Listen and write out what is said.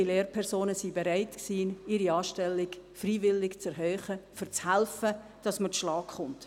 Viele Lehrpersonen waren bereit, ihre Anstellung freiwillig zu erhöhen, um zu helfen, dass man zurechtkommt.